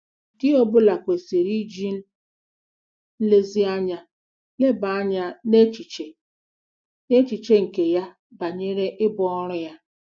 Di ọ bụla kwesịrị iji nlezianya leba anya n'echiche n'echiche nke ya banyere ibu ọrụ a.